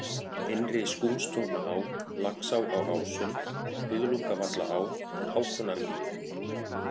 Innri-Skúmstungnaá, Laxá á Ásum, Buðlungavallaá, Hákonarmýri